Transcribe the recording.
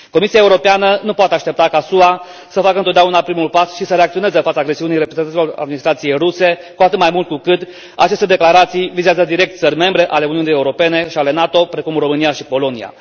Comisia Europeană nu poate aștepta ca SUA să facă întotdeauna primul pas și să reacționeze în fața agresiunii reprezentanților administrației ruse, cu atât mai mult cu cât aceste declarații vizează direct țări membre ale Uniunii Europene și ale NATO, precum România și Polonia.